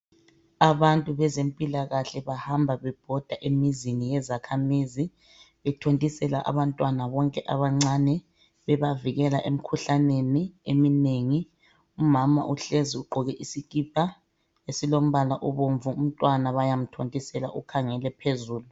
Abantu bezempilakahle bahamba bebhoda emizini yezakhamizi bethontisela abantwana bonke abancane bebavikela emkhuhlaneni emimengi. Umama uhlezi ugqoke isikipa esilombala obomvu, umntwana bayamthontisela ukhangele phezulu.